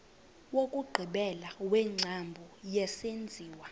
wokugqibela wengcambu yesenziwa